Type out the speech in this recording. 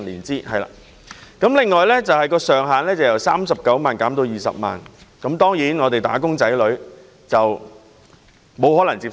政府後來又提出將補償金的上限由39萬元減至20萬元，"打工仔女"當然無法接受。